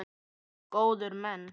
Góðir menn!